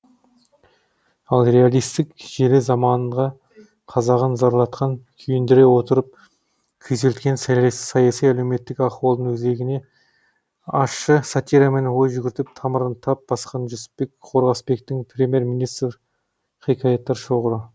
ал реалистік желі заманға қазағын зарлатқан күйіндіре отырып күйзелткен саяси әлеуметтік ахуалдың өзегіне ащы сатирамен ой жүгіртіп тамырын тап басқан жүсіпбек қорғасбектің премьер министр хикаяттар шоғыры